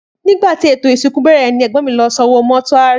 Nígbàtí ètò ìsìnkú bèrè ní ègbón mí lọ san owó mótúárì